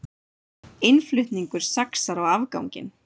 Innflutningur saxar á afganginn